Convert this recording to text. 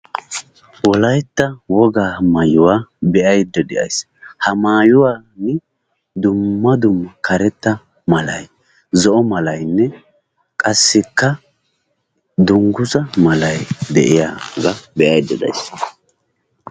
Wolaytta wogaa maayuwaa beayda deaysi. ha maayuwani dumma dumma karetta malay zo'o malaynne qassika dungguzza malay deiyaga beayda deaysi.